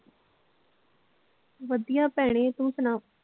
ਵਧੀਆ ਭੈਣੇ ਤੂੰ ਸੁਣਾ.